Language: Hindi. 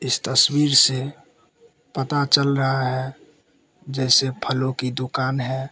इस तस्वीर से पता चल रहा है जैसे फलों की दुकान है।